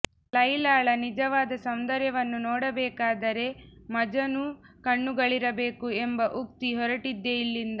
ಲೈಲಾಳ ನಿಜವಾದ ಸೌಂದರ್ಯವನ್ನು ನೋಡಬೇಕಾದರೆ ಮಜನೂ ಕಣ್ಣುಗಳಿರಬೇಕು ಎಂಬ ಉಕ್ತಿ ಹೊರಟಿದ್ದೇ ಇಲ್ಲಿಂದ